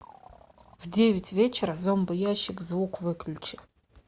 в девять вечера зомбоящик звук выключи